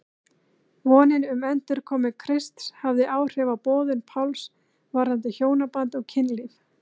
Vonin um endurkomu Krists hafði áhrif á boðun Páls varðandi hjónaband og kynlíf.